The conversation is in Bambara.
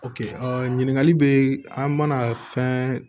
ɲininkali bɛ an mana fɛn